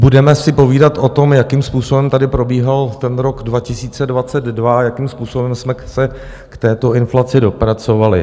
Budeme si povídat o tom, jakým způsobem tady probíhal ten rok 2022, jakým způsobem jsme se k této inflaci dopracovali.